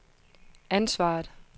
ansvaret